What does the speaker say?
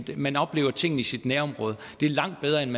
man oplever tingene i sit nærområde det er langt bedre end